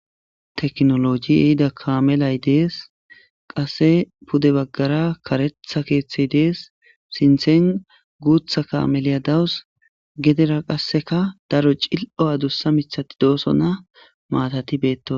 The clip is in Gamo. teknoloji ehida kaamelay dees qase pude baggara karetha keeththey dees sinthen guutha kaameliya dawus gedera qasseka daro cil'o adussa mithati doosona maatati beettosona